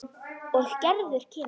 Og Gerður kemur.